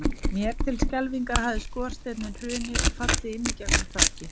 Mér til skelfingar hafði skorsteinninn hrunið og fallið inn í gegnum þakið.